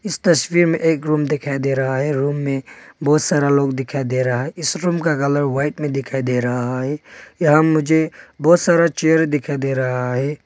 इस तस्वीर में एक रूम दिखाई दे रहा है रूम में बहुत सारा लोग दिखाई दे रहा है इस रूम का कलर वाइट में दिखाई दे रहा है यहां मुझे बहुत सारा चेयर दिखाई दे रहा है।